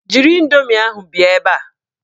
Jiri indoomi ahụ bịa ebe a!